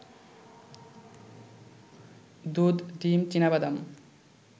দুধ, ডিম, চিনাবাদাম